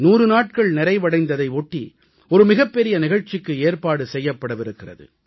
100 நாட்கள் நிறைவடைந்ததை ஒட்டி ஒரு மிகப் பெரிய நிகழ்ச்சிக்கு ஏற்பாடு செய்யப்படவிருக்கிறது